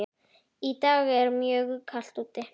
Í dag er mjög kalt úti.